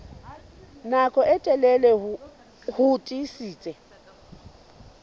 nako e telele ho tiisitse